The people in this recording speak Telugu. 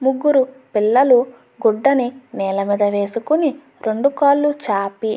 ముగ్గురు పిల్లలు గుడ్డని నేల మీద వెస్కొని రెండు కాలు చాపి --